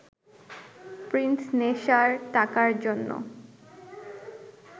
Prince নেশার টাকার জন্য